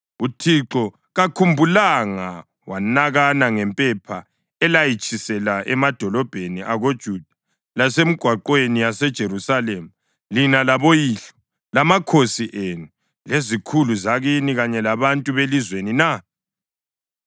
“UThixo kakhumbulanga wanakana ngempepha elayitshisela emadolobheni akoJuda lasemigwaqweni yaseJerusalema lina laboyihlo, lamakhosi enu, lezikhulu zakini kanye labantu belizweni na?